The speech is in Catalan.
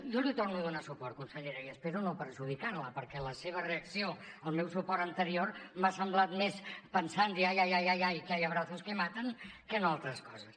jo l’hi torno a donar suport consellera i espero no perjudicar la perquè la seva reacció al meu suport anterior m’ha semblat més pensant ay ay ay que hay abrazos que matan que no altres coses